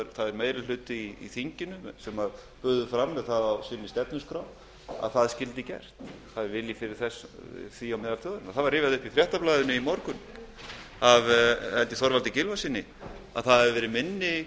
það er meiri hluti í þinginu sem bauð fram með það á stefnuskrá sinni að það skyldi gert það er vilji fyrir því á meðal þjóðarinnar það var rifjað upp í fréttablaðinu í morgun af held ég þorvaldi gylfasyni að það hefði verið minni